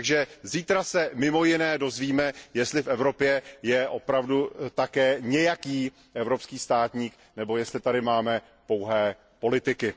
Takže zítra se mimo jiné dozvíme, jestli v Evropě je opravdu také nějaký evropský státník nebo jestli tady máme pouhé politiky.